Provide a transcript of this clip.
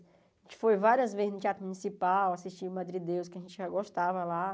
A gente foi várias vezes no Teatro Municipal, assistiu o Madrideus, que a gente já gostava lá.